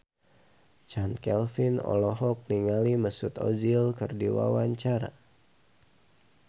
Chand Kelvin olohok ningali Mesut Ozil keur diwawancara